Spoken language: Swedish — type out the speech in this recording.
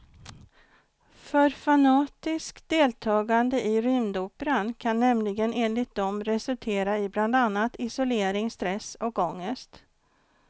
För fanatiskt deltagande i rymdoperan kan nämligen enligt dem resultera i bland annat isolering, stress och ångest.